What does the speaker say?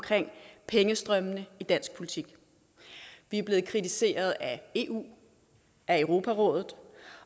pengestrømmene i dansk politik vi er blevet kritiseret af eu europarådet